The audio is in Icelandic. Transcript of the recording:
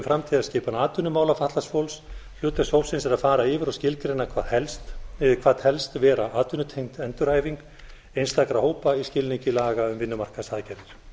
framtíðarskipan atvinnumála fatlaðs fólks hlutverk hópsins er að fara yfir og skilgreina hvað telst vera atvinnutengd endurhæfing einstakra hópa í skilningi laga um vinnumarkaðsaðgerðir